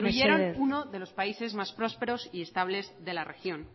mesedez que destruyeron uno de los países más prósperos y estables de la región